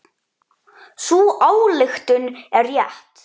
Sú ályktun er rétt.